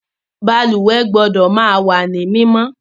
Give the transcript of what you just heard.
Balùwẹ́ gbọ́dọ̀ ma wá ní mímọ́